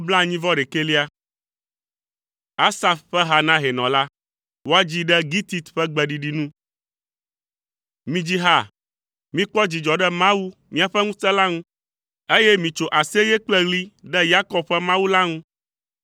Asaf ƒe ha na hɛnɔ la. Woadzii ɖe gitit ƒe gbeɖiɖi nu. Midzi ha, mikpɔ dzidzɔ ɖe Mawu, míaƒe ŋusẽ la ŋu, eye mitso aseye kple ɣli ɖe Yakob ƒe Mawu la ŋu!